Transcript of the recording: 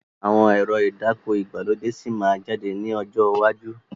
Àwọn ẹ̀rọ ìdáko ìgbàlódé síí má jáde ní ọjọ́ iwájú